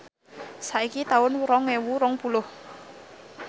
saiki taun rong ewu rong puluh